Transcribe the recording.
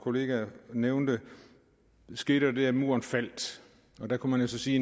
nævnte skete der det at muren faldt og der kunne man jo så sige